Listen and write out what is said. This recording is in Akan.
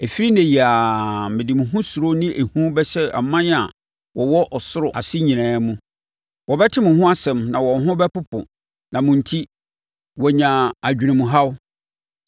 Ɛfiri ɛnnɛ yi ara, mede mo ho suro ne hu bɛhyɛ aman a wɔwɔ ɔsoro ase nyinaa mu. Wɔbɛte mo ho nsɛm na wɔn ho bɛpopo na mo enti, wɔanya adwenemhaw.”